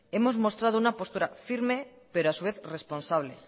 hemos mostrado una postura firme pero a su vez responsable